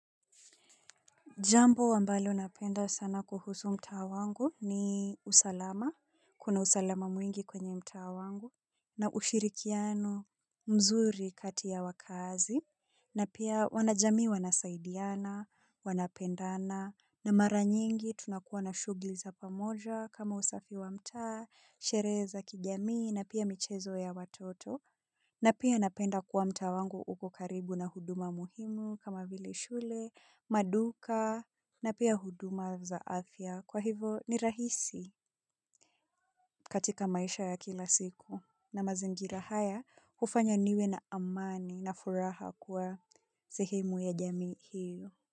Jambo ambalo napenda sana kuhusu mta wangu ni usalama, kuna usalama mwingi kwenye mta wangu, na ushirikiano mzuri kati ya wakazi, na pia wanajami wanasaidiana, wanapendana, na mara nyingi tunakuwa na shugli za pamoja kama usafi wa mta, shere za kijamii na pia michezo ya watoto. Na pia napenda kuwa mta wangu uko karibu na huduma muhimu kama vile shule, maduka na pia huduma za afya kwa hivo ni rahisi katika maisha ya kila siku na mazingira haya hufanya niwe na amani na furaha kuwa zihemu ya jami hiyo.